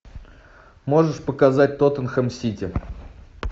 можешь показать тоттенхэм сити